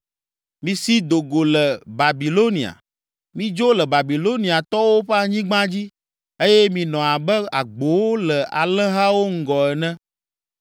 “Misi do go le Babilonia, midzo le Babiloniatɔwo ƒe anyigba dzi eye minɔ abe agbowo le alẽhawo ŋgɔ ene,